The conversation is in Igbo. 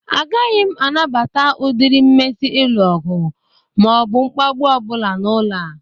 Agaghị m anabata udịrị nmesi ịlụ ọgụ ma ọ bụ mgbagbụ ọ bụla n'ụlọ a.